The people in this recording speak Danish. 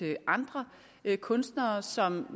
andre kunstnere som